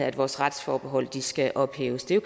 at vores retsforbehold skal ophæves det